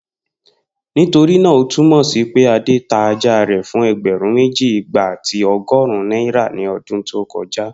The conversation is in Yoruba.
Nitorina o tumọ si pe Ade ta aja rẹ fun ẹgbẹrun meji, igba ati ọgọrun naira ni ọdun to koja?